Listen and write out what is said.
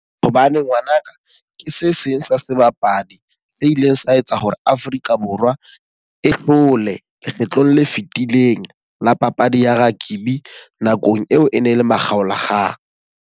Hobane ngwanaka ke se seng sa sebapadi se ileng sa etsa hore Afrika Borwa e hlole lekgetlong le fitileng la papadi ya rugby nakong eo e ne le makgaolakgang.